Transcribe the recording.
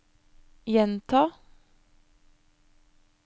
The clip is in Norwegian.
gjenta